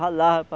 Ralava para...